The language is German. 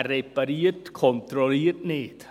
Wer repariert, kontrolliert nicht.